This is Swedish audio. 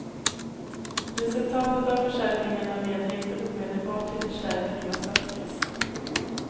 Resultatet av försäljningarna leder inte omedelbart till förstärkning av statskassan.